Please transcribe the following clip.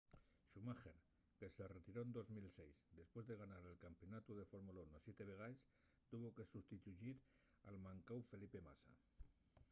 schumacher que se retiró en 2006 depués de ganar el campeonatu de fórmula 1 siete vegaes tuvo que sustituyir al mancáu felipe massa